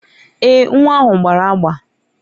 Èè, nwa ahụ gbara agba.